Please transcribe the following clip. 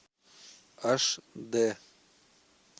аш дэ